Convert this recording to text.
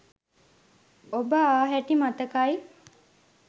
ඔබ ආ හැටි මතකයි